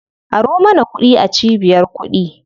Aro mana kuɗi a cibiyar kuɗi.